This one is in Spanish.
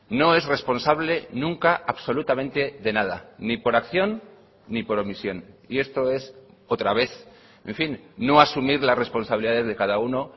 no es responsable nunca absolutamente de nada ni por acción ni por omisión y esto es otra vez en fin no asumir las responsabilidades de cada uno